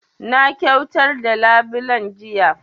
Na kyautar da labulen jiya